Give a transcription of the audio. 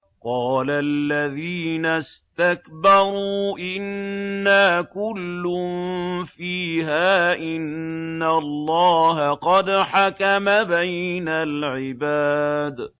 قَالَ الَّذِينَ اسْتَكْبَرُوا إِنَّا كُلٌّ فِيهَا إِنَّ اللَّهَ قَدْ حَكَمَ بَيْنَ الْعِبَادِ